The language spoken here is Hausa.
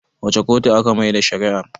wace kotu aka Maida shari'a r?